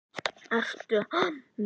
Ertu að meina.